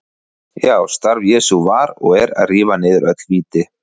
Já, starf Jesú var og er að rífa niður öll víti.